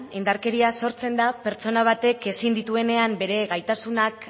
indarkeria sortzen da pertsona batek ezin dituenean bere gaitasunak